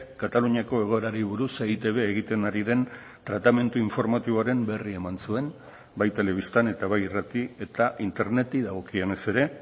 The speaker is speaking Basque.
kataluniako egoerari buruz eitb egiten ari den tratamendu informatiboaren berri eman zuen bai telebistan eta bai irrati eta interneti dagokionez ere